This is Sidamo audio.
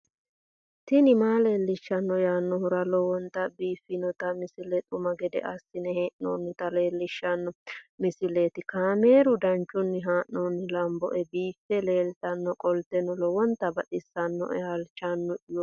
tini maa leelishshanno yaannohura lowonta biiffanota misile xuma gede assine haa'noonnita leellishshanno misileeti kaameru danchunni haa'noonni lamboe biiffe leeeltannoqolten lowonta baxissannoe halchishshanno yaate